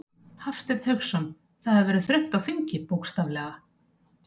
Hafsteinn Hauksson: Það hefur verið þröngt á þingi, bókstaflega?